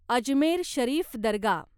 Ajmer Sharif Dargah